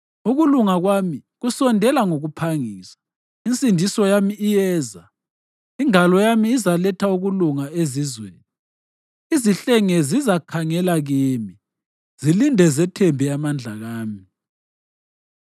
Ukulunga kwami kusondela ngokuphangisa, insindiso yami iyeza, ingalo yami izaletha ukulunga ezizweni. Izihlenge zizakhangela kimi, zilinde zithembe amandla ami.